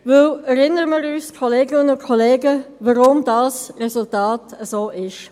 Erinnern wir uns daran, Kolleginnen und Kollegen, warum dieses Resultat so ist: